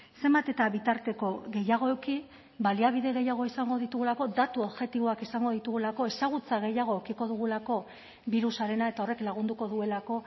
zenbat eta bitarteko gehiago eduki baliabide gehiago izango ditugulako datu objektiboak izango ditugulako ezagutza gehiago edukiko dugulako birusarena eta horrek lagunduko duelako